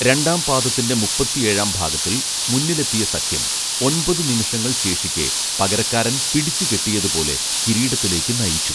രണ്ടാം പാദത്തിന്റെ മുപ്പത്തിയേഴാം ഭാഗത്തിൽ മുന്നിലെത്തിയ സഖ്യം ഒൻപതു നിമിഷങ്ങൾ ശേഷിക്കേ പകരക്കാരൻ പിടിച്ചു കെട്ടിയതുപോലെ കിരീടത്തിലേക്ക് നയിച്ചു